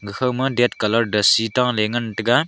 khawma ded colour dasi taley ngan taiga.